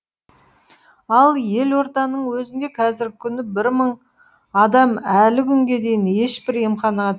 ал елорданың өзінде қазіргі күні бір мың адам әлі күнге дейін ешбір емханаға